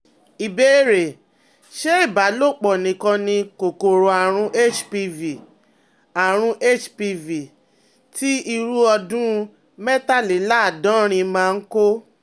Ìbéèrè: Ṣé ìbálòpọ̀ nìkan ni kòkòrò àrùn HPV àrùn HPV ti irú ọdún mẹ́tàléláàádọ́rin máa ń kó?